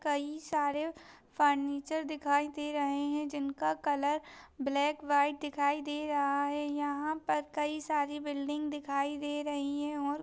कई सारे फर्निचर दिखाई दे रहे है जिनका कलर ब्लैक व्हाइट दिखाई दे रहा है यहा पर कई सारी बिल्डिंग दिखाई दे रही है और --